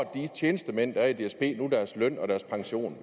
de tjenestemænd der er i dsb nu får deres løn og deres pension